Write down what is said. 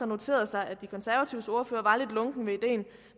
noteret sig at de konservatives ordfører